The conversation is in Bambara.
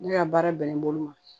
Ne ka baara bɛnnen bolo ma